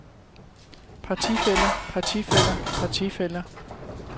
partifæller partifæller partifæller